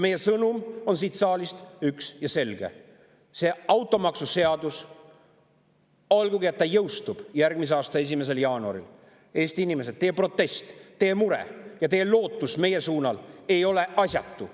Meie sõnum siit on üks ja selge: selle automaksuseaduse puhul, olgugi et see jõustub järgmise aasta 1. jaanuaril, ei ole teie protest ja mure, Eesti inimesed, ning teie lootus meile asjatud.